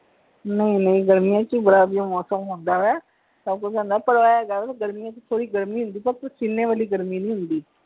ਨਹੀਂ ਨਹੀਂ ਗਰਮੀਆਂ ਚ ਵੀ ਵਡਾ ਵਧੀਆ ਮੌਸਮ ਹੁੰਦਾ ਹੈ ਸਭ ਕੁਝ ਹੁੰਦਾ ਹੈ ਪਰ ਇਹ ਹੈਗਾ ਹੈ ਕਿ ਗਰਮੀਆਂ ਚ ਥੋੜੀ ਗਰਮੀ ਹੁੰਦੀ ਆ ਪਰ ਪਸੀਨੇ ਵਾਲੀ ਗਰਮੀ ਨਹੀਂ ਹੁੰਦੀ।